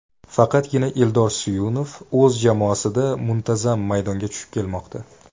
Faqatgina Eldor Suyunov o‘z jamoasida muntazam maydonga tushib kelmoqda.